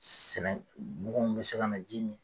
Sɛnɛ baganw bɛ se ka na ji min.